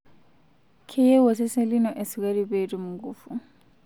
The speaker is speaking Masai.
Keyieu osesen lino esukari pee etim nkufu.